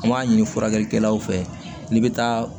An b'a ɲini furakɛlikɛlaw fɛ n'i bɛ taa